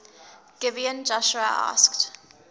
gibeon joshua asked